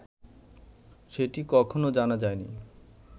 সেটি কখনও জানা যায়নি